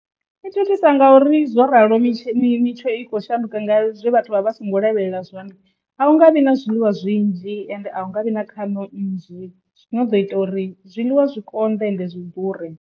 I thithisa ngauri zwo ralo mitshini mitsho i kho shanduka nga zwe vhathu vha vha songo lavhelela zwone anga vhi na zwiḽiwa zwinzhi ende a unga vhi na khano nnzhi zwino ḓo ita uri zwiḽiwa zwi konḓe ende zwi ḓure.